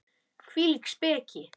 Hvílík speki!